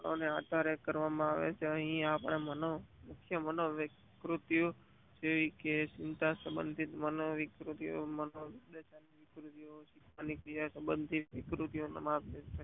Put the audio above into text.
અને આધારે કરવા માં આવે છે અહીંયા આપણે જેવી કે ચિંતા સંભંધિક મનોપ્રકૃતિક સબંધો અને વિકૃતિઓ